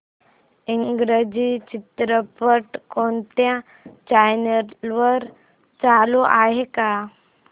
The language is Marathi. इंग्रजी चित्रपट कोणत्या चॅनल वर चालू आहे का